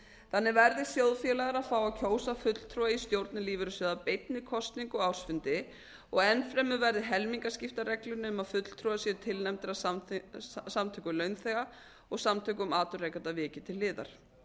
þannig verði sjóðfélagar að fá að kjósa fulltrúa í stjórnir lífeyrissjóða beinni kosningu á ársfundi og enn fremur verði helmingaskiptareglunni um að fulltrúar séu tilnefndir af samtökum launþega og samtökum atvinnurekenda vikið til hliðar